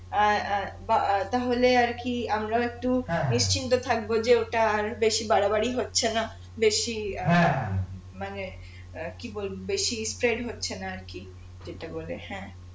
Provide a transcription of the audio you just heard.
অ্যাঁ অ্যাঁ বা তাহলে আর কি আমরাও একটু নিশ্চিন্ত থাকবো যে ওটা আর বেশি বাড়া বাড়ি হচ্ছে না বেশি অ্যাঁ মানে কি বলবো বেশি হচ্ছে না আর কি যেটা করে হ্যাঁ